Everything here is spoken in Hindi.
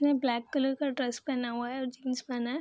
ने ब्लैक कलर का ड्रेस पहना हुआ है और जीन्स पहना है ।